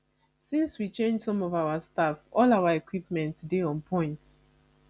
since we change some of our staff all our equipment dey on point